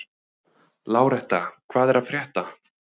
Láretta, hvað er að frétta?